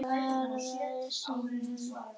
Svar: Fjórum sinnum